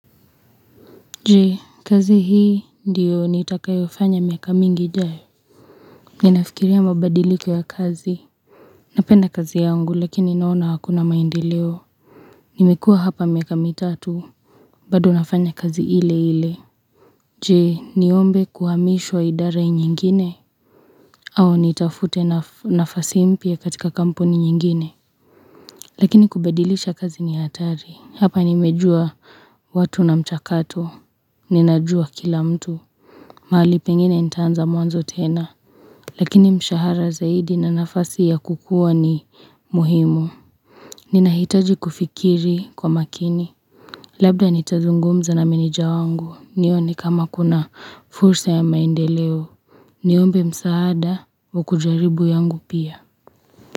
Je, kazi hii ndio nitakayofanya miaka mingi ijayo? Ninafikiria mabadiliko ya kazi Napenda kazi yangu lakini naona hakuna maendeleo. Nimekua hapa miaka mitatu bado nafanya kazi ile ile. Je, niombe kuhamishwa idara nyingine? Au nitafute nafasi mpya katika kampuni nyingine? Lakini kubadilisha kazi ni hatari hapa nimejua watu na mchakato ninajua kila mtu. Mahali pengine nitaanza mwanzo tena, lakini mshahara zaidi na nafasi ya kukuwa ni muhimu. Ninahitaji kufikiri kwa makini. Labda nitazungumza na meneja wangu, nione kama kuna fursa ya maendeleo. Niombe msaada wa kujaribu yangu pia.